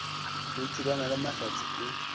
o thulana le mahlatse e